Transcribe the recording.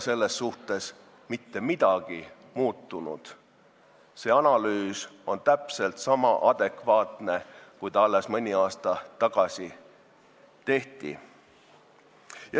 Selles suhtes ei ole mitte midagi muutunud: see analüüs on praegu täpselt sama adekvaatne kui mõni aasta tagasi, kui see tehti.